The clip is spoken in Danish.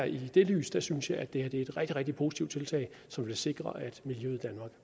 i det lys synes jeg at det her er et rigtig rigtig positivt tiltag som vil sikre at miljøet